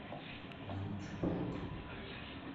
научпок